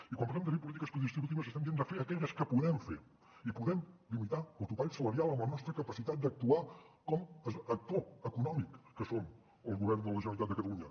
i quan parlem de fer polítiques predistributives estem dient de fer aquelles que podem fer i podem limitar el topall salarial amb la nostra capacitat d’actuar com a actor econòmic que som el govern de la generalitat de catalunya